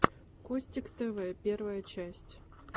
костик тв первая часть